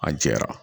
A jɛra